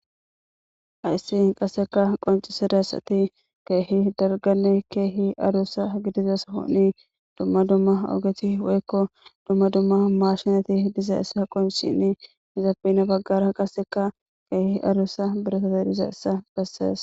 Ayssi qaseka qoncisedasati keehi darganne keehi arussa gidizas honi dumma dumma ogethi weekko dumma dumma maashinati diza issa qonshini hizaafina baggara qaseka keehi arussa biresate diza issa bessees